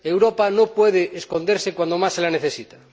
Europa no puede esconderse cuando más se la necesita.